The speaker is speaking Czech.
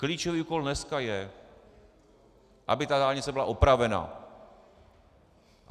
Klíčový úkol dneska je, aby ta dálnice byla opravena.